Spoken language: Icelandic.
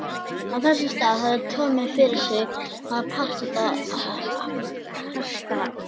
Á þessum stað hafði Tommi fyrir sið að parkera hestvagninum.